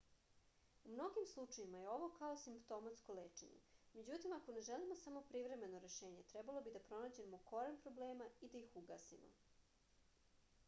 u mnogim slučajevima je ovo kao simptomatsko lečenje međutim ako ne želimo samo privremeno rešenje trebalo bi da pronađemo koren problema i da ih ugasimo